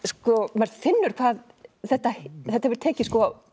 maður finnur hvað þetta þetta hefur tekið